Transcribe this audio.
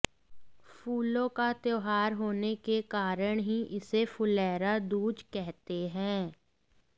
फूलों का त्योहार होने के कारण ही इसे फुलैरा दूज कहते हैं